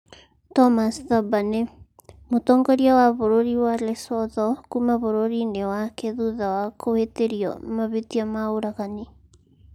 Thomas Thabane: Mutongoria wa bũrũri wa Lesotho kuuma bũrũri-inĩ wake thutha wa kũhĩtĩrio mahĩtia ma ũragani